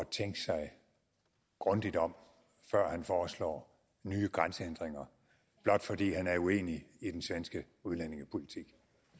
tænke sig grundigt om før han foreslår nye grænsehindringer blot fordi han er uenig i den svenske udlændingepolitik